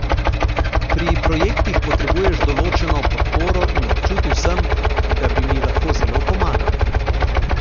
Pri projektih potrebuješ določeno podporo in občutil sem, da bi mi lahko zelo pomagal.